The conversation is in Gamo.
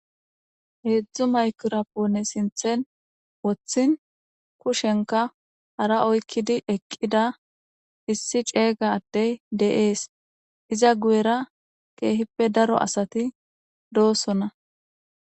Hezdu maygirapone sinten wotin kushenka hara oykidi eqida issi c'ega adey de'es iza guyera kehipe daro asati dosona.